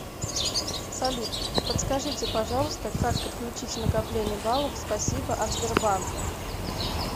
салют подскажите пожалуйста как подключить накопление баллов спасибо от сбербанка